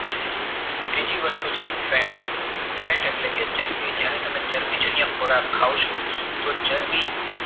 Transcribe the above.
છે બીજી વસ્તુ છે fat fat એટલે કે ચરબી જયારે તમે ચરબી જન્ય ખોરાક ખાવ છો તો ચરબી